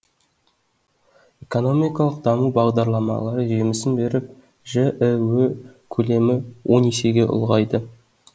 экономикалық даму бағдарламалары жемісін беріп жіө көлемі он есеге ұлғайды